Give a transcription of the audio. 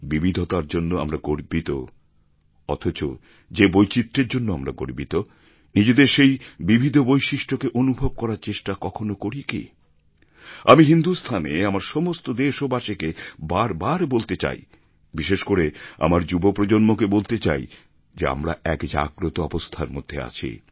বিবিধতার জন্য আমরা গর্বিত অথচ যে বৈচিত্র্যের জন্য আমরা গর্বিত নিজেদের সেই বিবিধ বৈশিষ্ট্যকে অনুভব করার চেষ্টা কখনও করি কি আমি হিন্দুস্থানে আমার সমস্ত দেশবাসীকে বারবার বলতে চাই বিশেষ করে আমার যুবপ্রজন্মকে বলতে চাই যে আমরা এক জাগ্রত অবস্থার মধ্যে আছি